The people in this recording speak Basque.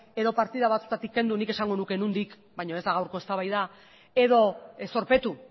edo partida batzuetatik kendu nik esan nuke nondik baina ez da gaurko eztabaida edo zorpetu